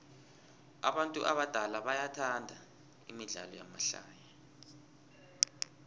abantu abadala bathanda imidlalo yamahlaya